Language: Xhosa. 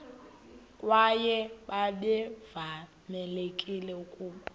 kwaye babevamelekile ukuba